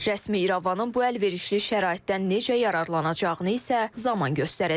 Rəsmi İrəvanın bu əlverişli şəraitdən necə yararlanacağını isə zaman göstərəcək.